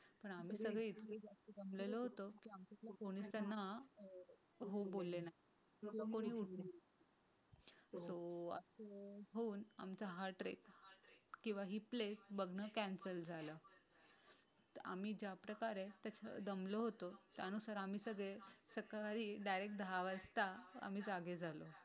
होऊन आमचा हा ट्रेक नाही किंवा हे प्ले बघणं कॅन्सल झालाय तर आम्ही ज्याप्रकारे आणि दमलो होतो. त्यानुसार आम्ही सगळे सकाळी आम्ही दहा वाजता जागी झालो.